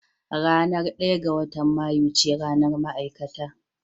Ranar ɗaya ga watan Mayu ce ranar ma'aikata